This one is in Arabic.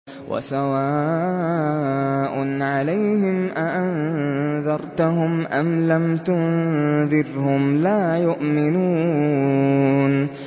وَسَوَاءٌ عَلَيْهِمْ أَأَنذَرْتَهُمْ أَمْ لَمْ تُنذِرْهُمْ لَا يُؤْمِنُونَ